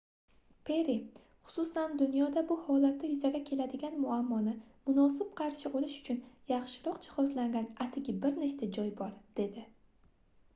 perri xususan dunyoda bu holatda yuzaga keladigan muammoni munosib qarshi olish uchun yaxshiroq jihozlangan atigi bir nechta joy bor - dedi